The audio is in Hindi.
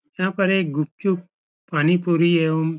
यहाँ पर एक गुपचुप पानीपूरी एओम् --